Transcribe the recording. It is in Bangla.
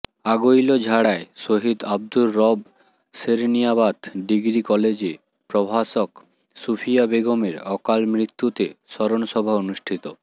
আগৈলঝাড়ায় শহীদ আবদুর রব সেরনিয়াবাত ডিগ্রী কলেজে প্রভাষক সুফিয়া বেগমের অকালমৃত্যুতে স্মরণসভা অনুষ্ঠিত